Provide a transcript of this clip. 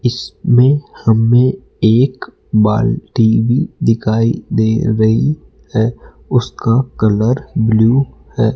इसमें हमें एक बाल्टी भी दिखाई दे रही है उसका कलर ब्लू है।